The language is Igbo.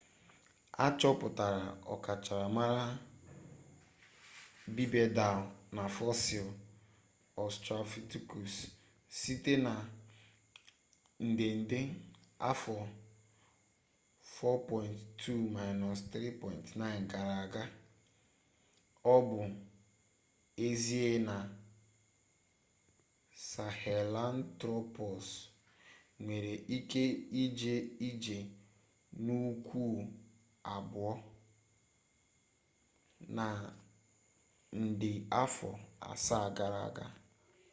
achoputara ọkachamara bipedal na fosil australopithecus site na nde nde afọ 4.2-3.9 gara aga o bu ezie na sahelanthropus nwere ike ije ije n'ukwu abuo na nde afọ asaa gara aga